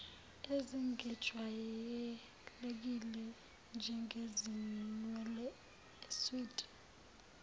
ezingejwayelekile njengezinwele iswidi